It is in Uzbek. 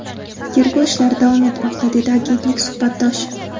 Tergov ishlari davom etmoqda”, dedi agentlik suhbatdoshi.